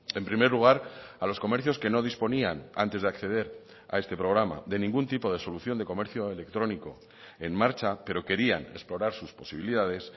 en primer lugar a los comercios que no disponían antes de acceder a este programa de ningún tipo de solución de comercio electrónico en marcha pero querían explorar sus posibilidades